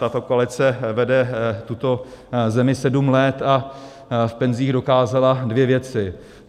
Tato koalice vede tuto zemi sedm let a v penzích dokázala dvě věci.